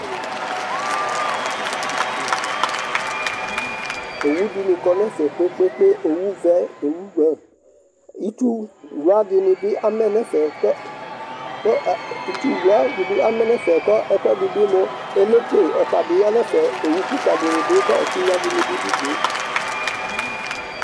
Owʊ dɩŋɩ ƙɔ ŋɛfɛ ƙpeƙpeƙpe, owʊ ʋɛ owʊ ɓlʊe Ɩtsʊwla dɩŋɩ ɓɩ amɛ ŋɛfɛ ƙʊ ɛƙʊ ɛdɩ ɓɩɛlɔpe ɔta ɓɩ ƴa ŋɛf Owʊ ƙɩka dɩŋɩ dʊ ƙɛtɩɣŋa dɩɓɩ dʊ ʊdʊe